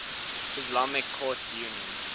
islamic courts union